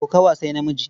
Kokawa sai namiji.